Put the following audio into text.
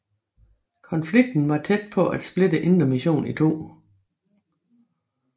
Konflikten var tæt på at splitte Indre Mission i to